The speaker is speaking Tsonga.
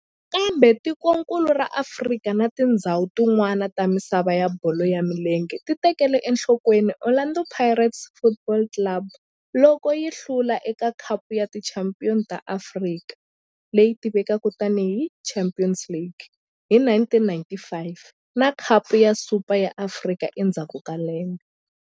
Kambe tikonkulu ra Afrika na tindzhawu tin'wana ta misava ya bolo ya milenge ti tekele enhlokweni Orlando Pirates Football Club loko yi hlula eka Khapu ya Tichampion ta Afrika, leyi tivekaka tani hi Champions League hi 1995 na Khapu ya Super ya Afrika endzhaku ka lembe.